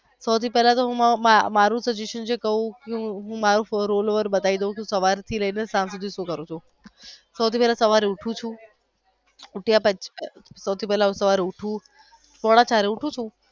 સૌથું પહેલા હું મારુ પોઝિશન કાવ હું all over બતાવી દવ છું હું સવાર થી લઇ ને સાંજ સુધી સુ કરું છું સૌથી પેલા સવારે હું ઉઠું છું સૌથી પેહલા હું સવારે ઉઠું છું હું પોણાચાર વાગે ઉઠું છું.